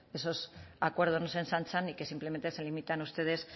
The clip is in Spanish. esos acuerdos no se ensanchan y que simplemente se limitan ustedes